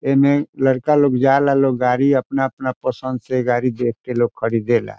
एमे लड़का लोग जाए ला लोग गाड़ी अपना अपना पसंद से देख के लोग खरीदे ला |